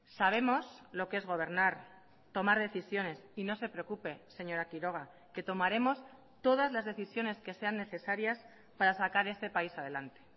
sabemos lo que es gobernar tomar decisiones y no se preocupe señora quiroga que tomaremos todas las decisiones que sean necesarias para sacar este país adelante